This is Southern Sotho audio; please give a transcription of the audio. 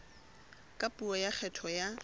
ka puo ya kgetho ya